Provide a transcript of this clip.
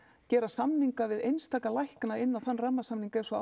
gera samninga við einstaka lækna inn á þann rammasamning eins og